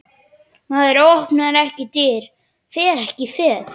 Maður opnar ekki dyr, fer ekki fet.